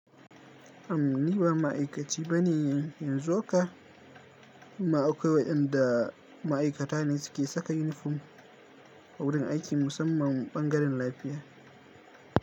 Am ni ba ma'aikaci ba ne in yanzu haka. Amma akwai waƴanda ma'aikata ne suke saka yunifom a wurin aiki musamman ɓangaren lafiya.